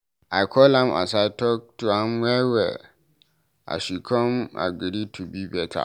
I call am aside talk to am well well, she come agree to be beta.